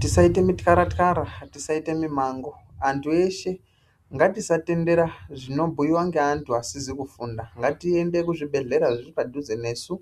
Tisaite mityaratyara tisaite mimango antu eshe ngatisatendera zvinobhuyiwa ngeantu asizi kufunda ngatiende kuzvibhedhleya zviri padhuze nesu